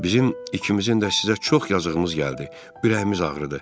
Bizim ikimizin də sizə çox yazığımız gəldi, ürəyimiz ağrıdı.